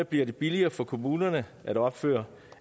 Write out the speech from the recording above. blevet billigere for kommunerne at opføre